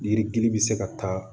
Yiridili bɛ se ka taa